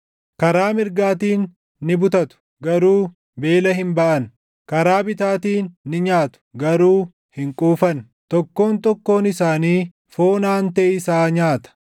Karaa mirgaatiin ni butatu; garuu beela hin baʼan; karaa bitaatiin ni nyaatu; garuu hin quufan. Tokkoon tokkoon isaanii foon aantee isaa nyaata;